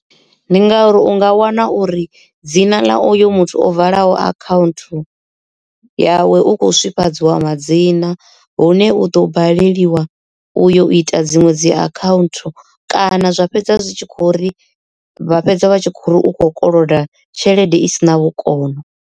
Ndi ngauri u nga wana uri dzina ḽa uyo muthu o valaho account yawe u kho swifhadzwaho madzina hune u ḓo baleliwa u yo ita dziṅwe dzi akhaunthu kana zwa fhedza zwi tshi kho uri vha fhedza vha tshi khou ri u kho koloda tshelede isina vhukono.